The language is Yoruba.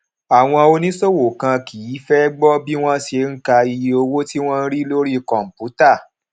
àwọn oníṣòwò kan kì í fé gbó bí wón ṣe ń ka iye owó tí wón ń rí lórí kòǹpútà